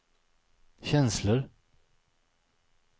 känslor